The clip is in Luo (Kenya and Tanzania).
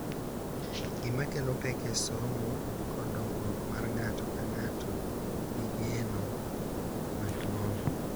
Gik ma kelo pek e somo, kod dongruok mar ng’ato ka ng’ato gi geno maduong’.